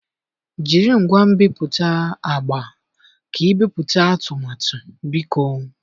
Jiri ngwa nbipute agba ka ibipụta atụmatụ, biko.